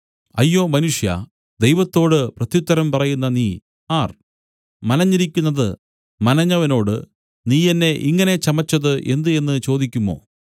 അയ്യോ മനുഷ്യാ ദൈവത്തോട് പ്രത്യുത്തരം പറയുന്ന നീ ആർ മനഞ്ഞിരിക്കുന്നതു മനഞ്ഞവനോടു നീ എന്നെ ഇങ്ങനെ ചമച്ചത് എന്ത് എന്നു ചോദിക്കുമോ